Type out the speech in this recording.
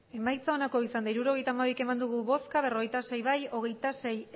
emandako botoak hirurogeita hamabi bai berrogeita sei ez hogeita sei